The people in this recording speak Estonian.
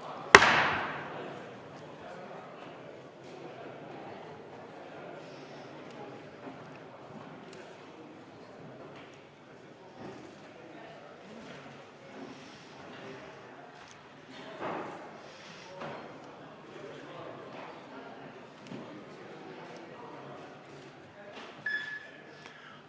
Hääletustulemused